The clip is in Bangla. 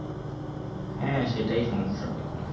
হ্যাঁ সেটাই সমস্যা হয় এখন